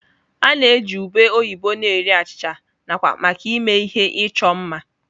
A na-eji ube oyibo na-eri achịcha, nakwa maka ịme ihe ịchọ mma.